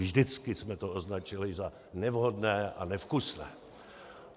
Vždycky jsme to označili za nevhodné a nevkusné.